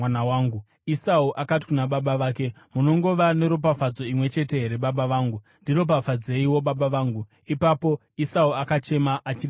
Esau akati kuna baba vake, “Munongova neropafadzo imwe chete here, baba vangu? Ndiropafadzeiwo, baba vangu!” Ipapo Esau akachema achiridza mhere.